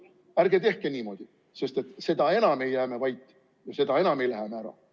Ärge tehke niimoodi, sest et seda enam ei jää me vait, seda enam ei lähe me ära.